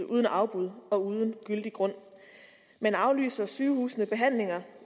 uden afbud og uden gyldig grund men aflyser sygehusene behandlinger